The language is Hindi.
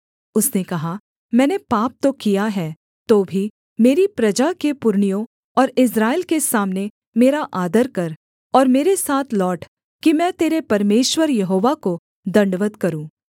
उसने कहा मैंने पाप तो किया है तो भी मेरी प्रजा के पुरनियों और इस्राएल के सामने मेरा आदर कर और मेरे साथ लौट कि मैं तेरे परमेश्वर यहोवा को दण्डवत् करूँ